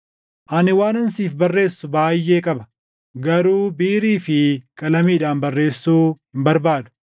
Ani waanan siif barreessu baayʼee qaba; garuu biirii fi qalamiidhaan barreessuu hin barbaadu.